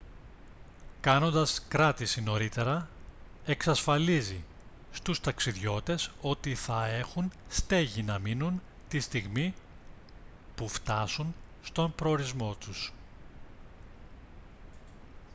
κάνοντας κράτηση νωρίτερα εξασφαλίζει στους ταξιδιώτες ότι θα έχουν στέγη να μείνουν τη στιγμή που φτάσουν στον προορισμό τους